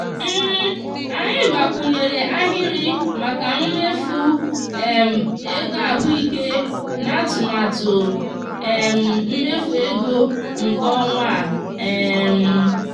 anyị gbakwunyere ahịrị maka mmefu um ego ahụike n'atụmatụ um mmefu ego nke ọnwa a. um